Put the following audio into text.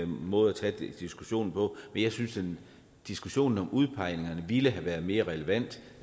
måde at tage diskussionen på men jeg synes diskussionen om udpegningerne ville have været mere relevant